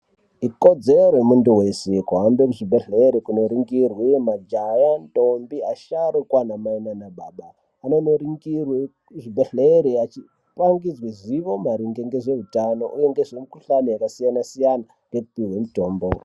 Ikodzero yemuntu wese kuhanda kuzvibhehleya kunoningirwe majaya ndombi asharukwa ana mai nanababa mundomingirwa kuzvibhehleya muchipangidzwa zivo maringe ngezveutano nezvemukuhlani akasiyana siyana meipirwe mitombo.